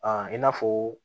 i n'a fɔ